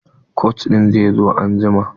Kocin zai zo anjima.